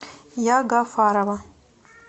ягафарова